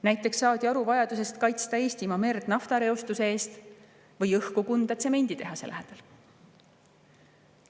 Näiteks saadi aru vajadusest kaitsta Eestimaa merd naftareostuse eest või õhku Kunda tsemenditehase lähedal.